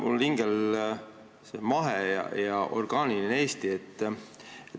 Mul on see mahe ja orgaaniline Eesti samamoodi hingel nagu sul.